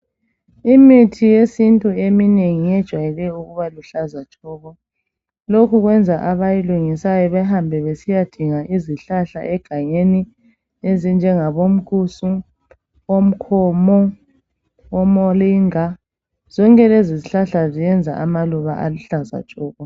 Imithi yesintu eminingi iyejwayele ukuba luhlaza tshoko lokhu kwenza abayilungisayo behambe besiyadinga izihlahla egangeni ezinjengabo mkusu omkhomo omolinga zonke lezi zihlahla ziyenza amaluba aluhlaza tshoko.